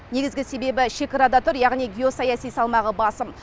негізгі себебі шекарада тұр және геосаяси салмағы басым